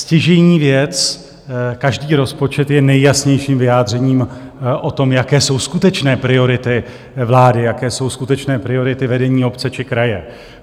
Stěžejní věc - každý rozpočet je nejjasnějším vyjádřením o tom, jaké jsou skutečné priority vlády, jaké jsou skutečné priority vedení obce či kraje.